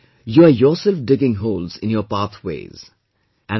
It is as if you are yourself digging holes in your pathways